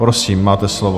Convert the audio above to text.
Prosím, máte slovo.